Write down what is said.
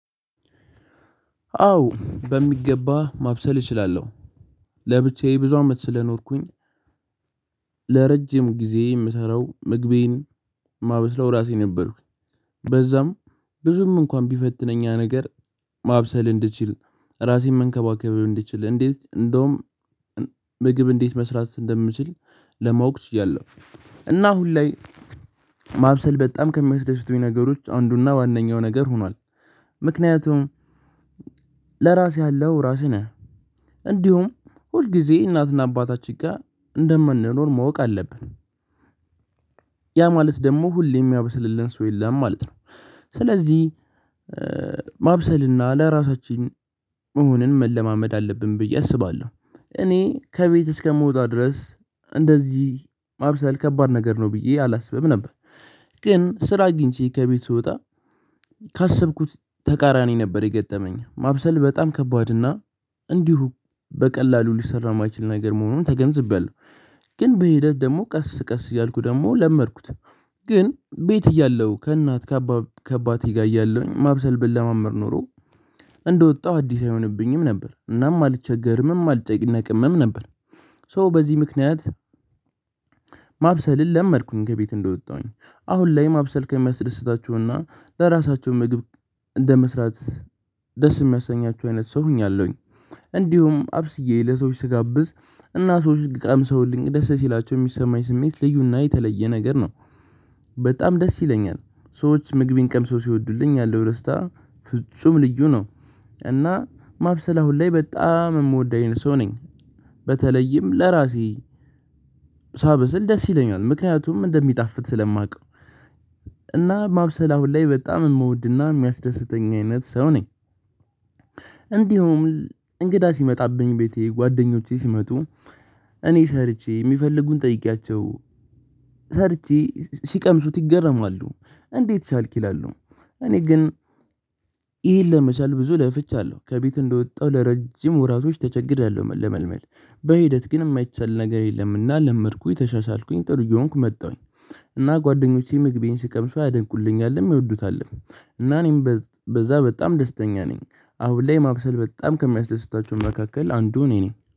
አዎ በሚገባ ማብሰል እችላለሁ። ለብቻዬ ብዙ አመት ስለኖርኩኝ። ለረጅም ጊዜ የምሰራው ምግቤን የማበስለው ራሴ ነበርኩኝ። በዛም ብዙም እንኳን ቢፈትነኝ ያ ነገር ማብሰል እንድችል ራሴን መንከባከብ እንድችል እንዴት እንደውም ምግብ እንዴት መስራት እንደምችል ለማወቅ ችያለሁ። እና አሁን ላይ ማብሰል በጣም ከሚያስደስቱኝ ነገሮች አንዱና ዋነኛው ነገር ሆኗል። ምክንያቱም ለራስህ ያለሀው ራስህ ነህ። እንዲሁም ሁልጊዜ እናትና አባታችን ጋር እንደማንኖር ማወቅ አለብን። ያ ማለት ደግሞ ሁሌም የሚያብስልልን ሰው የለም ማለት ነው። ስለዚህ ማብሰልና ለራሳችን መሆንን መለማመድ አለብን ብዬ አስባለሁ። እኔ ከቤት እስከምወጣ ድረስ እንደዚህ ማብሰል ከባድ ነገር ነው ብዬ አላስብም ነበር። ግን ስራ አግኝቼ ከቤት ስወጣ ካሰብኩት ተቃራኒ ነበር የገጠመኝ ማብሰል በጣም ከባድ እና እንዲሁ በቀላሉ ልጅ ሊሰራ የማይችል ነገር መሆኑ ተገንዝቤያለሁ። ግን በሂደት ደግሞ ቀስ ቀስ እያልኩ ደግሞ ለመድኩት። ግን ቤት እያለሁ ከእናት ከአባቴ ጋር እያለሁኝ ማብሰል ብለማመድ ኖሮ። እንደወጣሁ አዲስ አይሆንብኝም ነበር እናም አልቸገርምም አልጨነቅምም ነበር። ሶ በዚህ ምክንያት ማብሰልን ለመድኩኝ ከቤት እንደወጣሁኝ አሁን ላይ ማብሰል ከሚያስደስታቸውና ለራሳቸው ምግብ እንደመስራት ደስ የሚያሰኛቸው አይነት ሰው ሆኛለሁኝ። እንዲሁም አብስዬ ለሰዎች ስጋብዝ እና ሰዎች ቀምሰውልኝ ደስ ሲላቸው የሚሰማኝ ስሜት ልዩና የተለየ ነገር ነው። በጣም ደስ ይለኛል ሰዎች ምግቤን ቀምሰው ሲወዱልኝ ያለው ደስታ ፍጹም ልዩ ነው። እና ማብሰል አሁን ላይ በጣም የምወድ አይነት ሰው ነኝ። በተለይም ለራሴ ሳበስል ደስ ይለኛል ምክንያቱም እንደሚጣፍጥ ስለማውቀው። እና ማብሰል አሁን ላይ በጣም የምወድና የሚያስደስተኝ አይነት ሰው ነኝ። እንዲሁም እንግዳ ሲመጣብኝ ቤቴ ጓደኞቼ ሲመጡ እኔ ሰርቼ የሚፈልጉን ጠይቄያቸው ሰርቼ ሲቀምሱት ይገረማሉ። እንዴት ቻልክ ይላሉ? እኔ ግን ይሄን ለመቻል ብዙ ለፍቻለሁ ከቤት እንደወጣሁ ለረጅም ወራቶች ተቸግሬያለሁ ለመድመድ በሂደት ግን የማይቻል ነገር የለምና ለመድኩኝ ተሻሻልኩኝ ጥሩ እየሆንኩ መጣሁኝ። እና ጓደኞቼ ምግቤን ሲቀምሱ ያደንቁኛልም ይወዱታልም። እና እኔም በዛ በጣም ደስተኛ ነኝ። አሁን ላይ ማብሰል በጣም ከሚያስደስታቸው መካከል አንዱ እኔ ነኝ